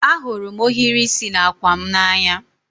Ahụrụ m ohiri isi n'àkwà m n'anya